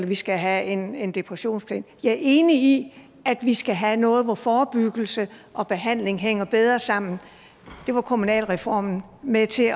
vi skal have en en depressionsplan jeg er enig at vi skal have noget hvor forebyggelse og behandling hænger bedre sammen det var kommunalreformen med til